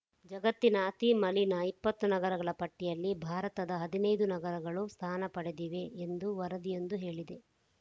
ಜಗತ್ತಿನ ಅತಿ ಮಲಿನ ಇಪ್ಪತ್ತು ನಗರಗಳ ಪಟ್ಟಿಯಲ್ಲಿ ಭಾರತದ ಹದಿನೈದು ನಗರಗಳು ಸ್ಥಾನ ಪಡೆದಿವೆ ಎಂದು ವರದಿಯೊಂದು ಹೇಳಿದೆ